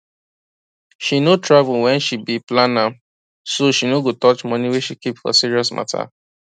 she no travel when she be plan am so she no go touch money wey she keep for serious matter